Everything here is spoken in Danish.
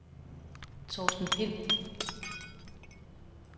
Torsten Pind